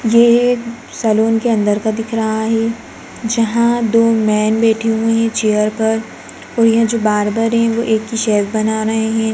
यह एक सैलून के अंदर का दिख रहा है जहाँ दो मेन बैठे हुए हैं चेयर पर और यह जो बार्बर है वो एक के शेव बना रहे हैं।